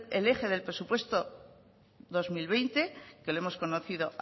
el eje del presupuesto dos mil veinte que lo hemos conocido